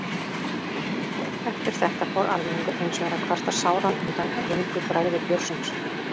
Eftir þetta fór almenningur hins vegar að kvarta sáran undan röngu bragði bjórsins.